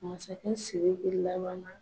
Masaka Siriki laban na